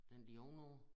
Den lige ovenover